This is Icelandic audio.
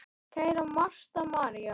Kæra Marta María.